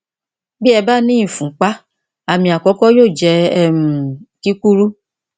bí ẹ bá ní ìfúnpá àmì àkọkọ yóò jẹ um kíkúrú